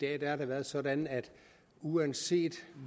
er det sådan at uanset